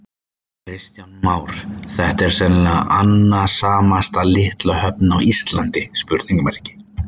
Kristján Már: Þetta er sennilega annasamasta litla höfn á Íslandi?